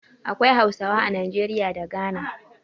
Akwai Hausawa a Najeriya da Ghana.